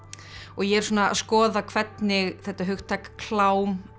ég er svona að skoða hvernig þetta hugtak klám